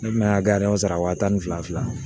Ne kun bɛ ka sara wa tan ni fila